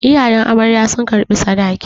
Iyayen amarya sun karɓi sadaki.